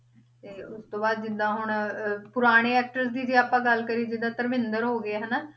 ਤੇ ਉਸ ਤੋਂ ਬਾਅਦ ਜਿੱਦਾਂ ਹੁਣ ਅਹ ਪੁਰਾਣੇ actors ਦੀ ਜੇ ਆਪਾਂ ਗੱਲ ਕਰੀਏ ਜਿੱਦਾਂ ਧਰਮਿੰਦਰ ਹੋ ਗਏ ਹਨਾ,